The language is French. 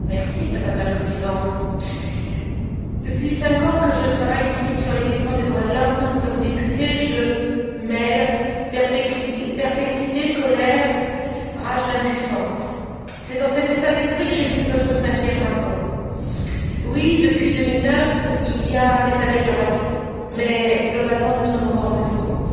Madame la Présidente, Monsieur le Commissaire, depuis cinq ans que je travaille ici sur les questions des droits de l'homme, comme députée, je mêle perplexité, colère, rage d'impuissance. C'est dans cet état d'esprit que j'ai lu votre cinquième rapport. Oui, depuis 2009, il y a des améliorations mais globalement nous sommes encore loin du compte,